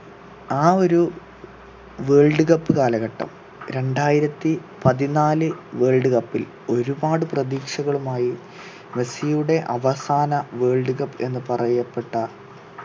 ആ ഒരു world cup കാലഘട്ടം രണ്ടായിരത്തി പതിനാല് world cup ൽ ഒരുപാട് പ്രതീക്ഷകളുമായി മെസ്സിയുടെ അവസാന world cup എന്ന് പറയപ്പെട്ട